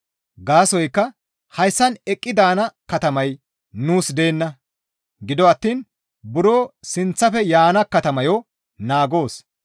Gaasoykka hayssan eqqi daana katamay nuus deenna; gido attiin buro sinththafe yaana katamayo naagoos.